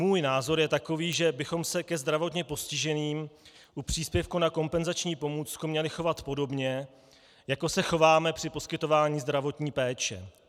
Můj názor je takový, že bychom se ke zdravotně postiženým u příspěvku na kompenzační pomůcku měli chovat podobně, jako se chováme při poskytování zdravotní péče.